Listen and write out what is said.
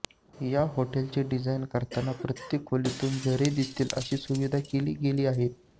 या हॉटेलचे डिझाईन करताना प्रत्येक खोलीतून झरे दिसतील अशी सुविधा केली गेली आहे